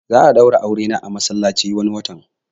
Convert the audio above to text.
Za'a daura aure na a masallaci wani watan